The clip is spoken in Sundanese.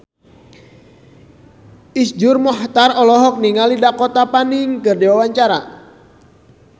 Iszur Muchtar olohok ningali Dakota Fanning keur diwawancara